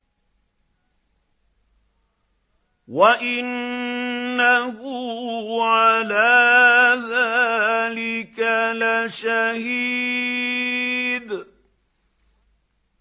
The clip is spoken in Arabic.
وَإِنَّهُ عَلَىٰ ذَٰلِكَ لَشَهِيدٌ